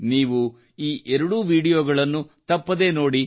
ನೀವು ಈ ಎರಡೂ ವೀಡಿಯೋಗಳನ್ನು ತಪ್ಪದೆ ನೋಡಿ